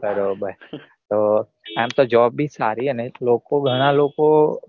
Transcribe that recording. બારોબાર આમ તો Job ભી સારી અને લોકો ઘણા લોકો